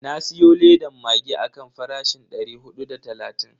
Na siyo ledan maggi akan farashin dari hudu da talatin.